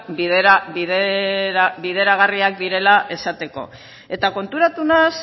bideragarriak direla esateko eta konturatu naiz